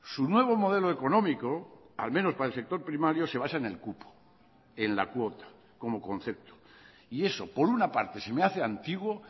su nuevo modelo económico al menos para el sector primario se basa en el cupo en la cuota como concepto y eso por una parte se me hace antiguo